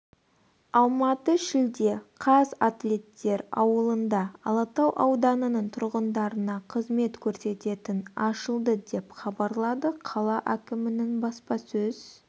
алматы шілде қаз атлеттер ауылында алатау ауданының тұрғындарына қызмет көрсететін ашылды деп хабарлады қала әкімінің баспасөз